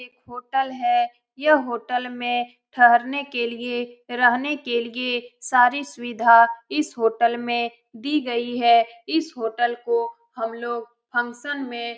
एक होटल है यह होटल में ठहरने के लिए रहने के लिए सारी सुविधा इस होटल में दी गई है इस होटल को हम लोग फंक्शन में --